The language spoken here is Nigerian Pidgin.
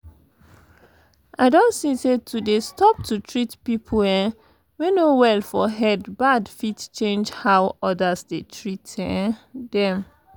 i don see say to dey stop to treat people um wey no well for head bad fit change how others dey treat um them